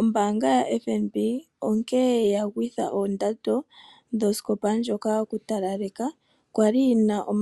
Ombaanga ya FNB onkene yagwitha ondando yoskopa ndjoka yokutalaleka kwali yina N$